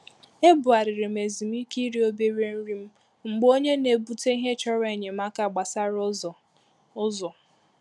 Ebugharịrị m ezumike iri òbèrè nri m mgbe onye na ebute ìhè chọrọ enyemaka gbasàra ụzọ. ụzọ.